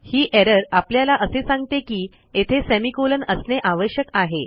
ही error आपल्याला असे सांगते की येथे सेमिकोलॉन असणे आवश्यक आहे